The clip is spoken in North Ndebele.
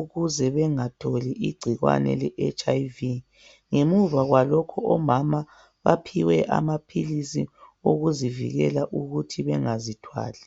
ukuze bengatholi igcikwane le HIV ngemuva kwalokho omama baphiwe amaphilisi okuzivikela ukuthi bengazithwali